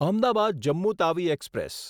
Ahmedabad Jammu Tawi express